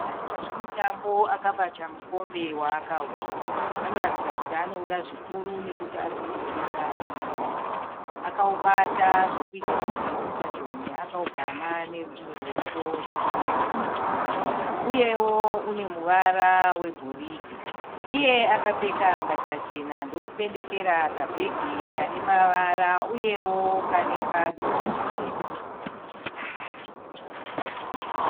Munhu anoita zvemutambo akabata mukombe waakahwina. Anoratidza kuti anowuda zvikuru nokuti ari kuwutsvoda nemuromo wake. Akawubata zvekuita kuti usadonhe, akawugama nerumwe ruoko rwekuruboshwe. Uyewo une muvara wegoridhe. Iye akapfeka mbatya chena ndokupendekera kabheki kane mavara uyewo kane padumbu patema.